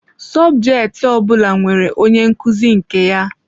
Sọbjeti ọ bụla nwere onye nkuzi nke ya.